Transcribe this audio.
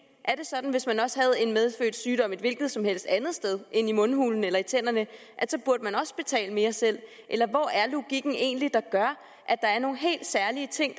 er det sådan at hvis man også havde en medfødt sygdom et hvilket som helst andet sted end i mundhulen eller i tænderne så burde man også betale mere selv eller hvor er logikken egentlig der gør at der er nogle helt særlige ting